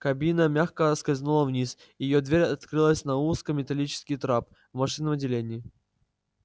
кабина мягко скользнула вниз и её дверь открылась на узкий металлический трап в машинном отделении